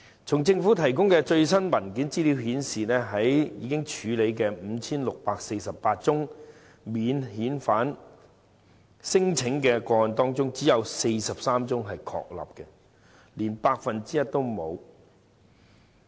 從政府提供最新的文件資料顯示，在已處理的 5,648 宗免遣返聲請個案中，只有43宗確立，連 1% 都沒有。